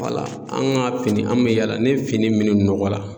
an ka fini an be yaala ni fini minnu nɔgɔ la